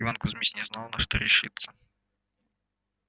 иван кузмич не знал на что решиться